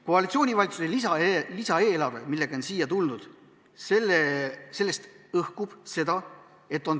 Koalitsioonivalitsuse lisaeelarvest, millega siia on tuldud, õhkub tõelist soovi aidata.